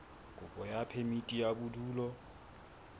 kopo ya phemiti ya bodulo